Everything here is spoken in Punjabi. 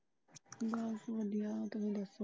ਬਸ ਵਧੀਆ ਤੁਸੀਂ ਦੱਸੋ।